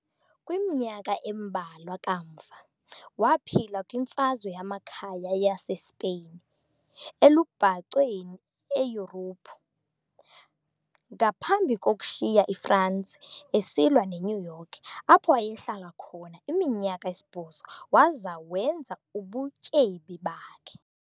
kwiminyaka embalwa kamva, waphila kwiMfazwe Yamakhaya yaseSpain elubhacweni eYurophu, ngaphambi kokushiya iFransi esilwa eNew York, apho wayehlala khona iminyaka esibhozo waza wenza ubutyebi bakhe.